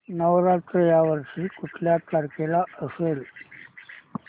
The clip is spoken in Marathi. नवरात्र या वर्षी कुठल्या तारखेला असेल